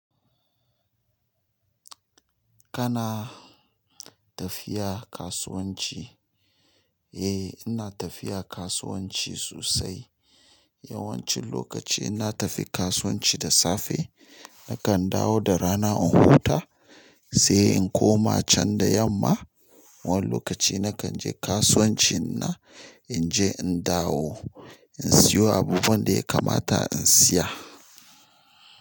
Kana tafiya kasuwanci? Eh, ina tafiya kasuwanci sosai. Yawancin lokaci inna tafi kasuwanci da safe. Nakan dawo da rana in huta, sai in koma can da yamma. Wani lokaci na kan je kasuwancin na, in je in dawo, in siyo abubuwan da ya kamata in siya.